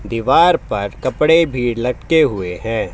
दीवार पर कपड़े भी लटके हुए हैं।